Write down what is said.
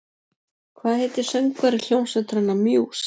Hvað heitir söngvari hljómsveitarinnar Muse?